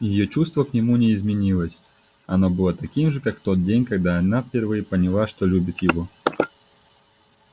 её чувство к нему не изменилось оно было таким же как в тот день когда она впервые поняла что любит его